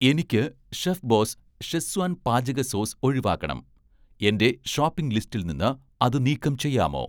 എനിക്ക് 'chefboss' schezwan പാചക sauce ഒഴിവാക്കണം, എന്‍റെ ഷോപ്പിംഗ് ലിസ്റ്റിൽ നിന്ന് അത് നീക്കം ചെയ്യാമോ